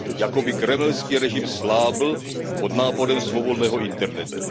Jakoby kremelský režim slábl pod náporem svobodného internetu.